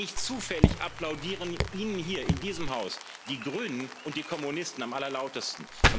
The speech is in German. Nicht zufällig applaudieren Ihnen hier in diesem Haus die Grünen und die Kommunisten am allerlautesten.